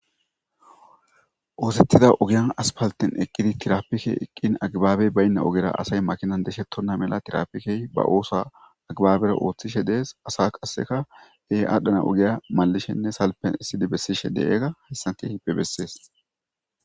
Oosetida oven asfalte tirapikey eqi agibabey bayna ogera asay makina bosheti a mala tirapikey ba oosuwa agibabera othishe de'es asay qase adhana ogiya malishenne salfera exidi besishe diyoga ha misiley qonc'isses.